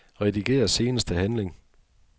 Rediger seneste handling.